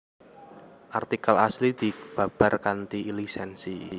Artikel asli dibabar kanthi lisènsi